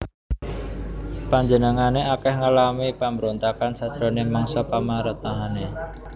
Panjenengané akèh ngalami pambrontakan sajroning mangsa pamaréntahané